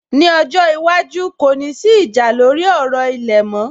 Ní ọjọ́ iwájú, kò ní sí ìjà lórí ọ̀rọ̀ ilẹ̀ mọ́